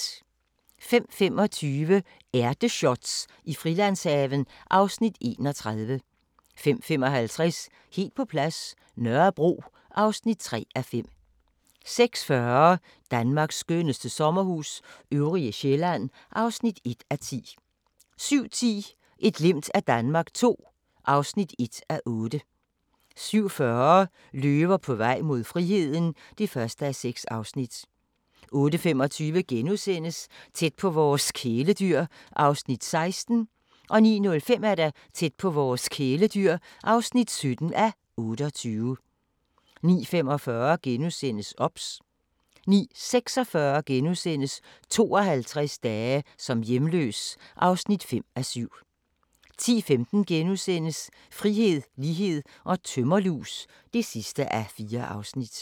05:25: Ærteshots i Frilandshaven (Afs. 31) 05:55: Helt på plads – Nørrebro (3:5) 06:40: Danmarks skønneste sommerhus – Øvrige Sjælland (1:10) 07:10: Et glimt af Danmark II (1:8) 07:40: Løver på vej mod friheden (1:6) 08:25: Tæt på vores kæledyr (16:28)* 09:05: Tæt på vores kæledyr (17:28) 09:45: OBS * 09:46: 52 dage som hjemløs (5:7)* 10:15: Frihed, lighed & tømmerlus (4:4)*